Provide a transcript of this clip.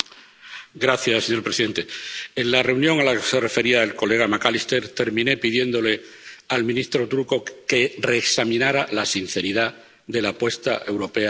Señor presidente, en la reunión a la que se refería el colega McAllister terminé pidiéndole al ministro turco que reexaminara la sinceridad de la apuesta europea de Turquía.